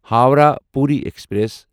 Howrah Puri express